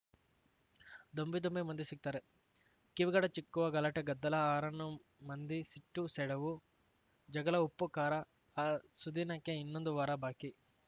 ದೊಂಬಿ ದೊಂಬಿ ಮಂದಿ ಸಿಗ್ತಾರೆ ಕಿವಿಗಡಚಿಕ್ಕುವ ಗಲಾಟೆ ಗದ್ದಲ ಹಾರನ್ನು ಮಂದಿ ಸಿಟ್ಟು ಸೆಡವು ಜಗಳ ಉಪ್ಪು ಖಾರ ಆ ಸುದಿನಕ್ಕೆ ಇನ್ನೊಂದು ವಾರ ಬಾಕಿ